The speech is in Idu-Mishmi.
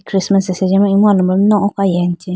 christmas asenji ma imu alombro mai nu oko ayi ayamchee.